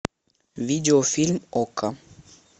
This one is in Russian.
видеофильм окко